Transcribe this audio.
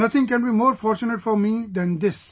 Nothing can be more fortunate for me than this